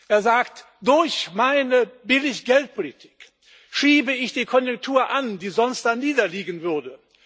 Er sagt Durch meine Billiggeldpolitik schiebe ich die Konjunktur an, die sonst darniederliegen würde.